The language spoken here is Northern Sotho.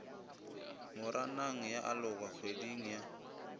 moranang ya aloga kgweding ya